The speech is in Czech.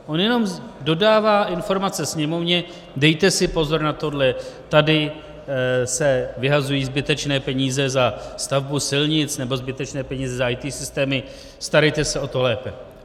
On jenom dodává informace Sněmovně: dejte si pozor na tohle, tady se vyhazují zbytečné peníze za stavbu silnic nebo zbytečné peníze za IT systémy, starejte se o to lépe.